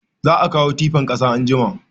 Za a kawo tifan kasa anjima